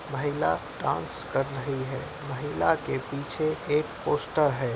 महिला डांस कर रही है। महिला के पीछे एक पोस्टर है।